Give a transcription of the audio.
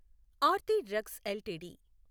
Aarti drugs LTD